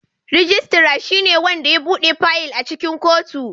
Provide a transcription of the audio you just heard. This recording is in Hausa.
Registrar shine wanda ya buɗe fayil a cikin kotu.